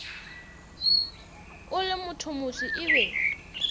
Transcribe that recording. o le mothomoso e be